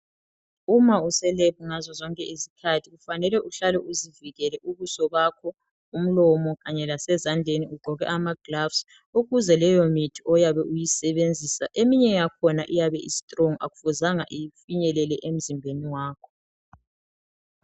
Uma use lab ngazo zonke izikhathi kufanele uhlale uzivikele ubuso bakho, umlomo kanye lasezandleni ugqoke ama gilavisi ukuze leyo mithi oyabe uyisebenzisa eminye yakhona iyabe istrong akufuzanga ifinyelele emzimbeni wakho.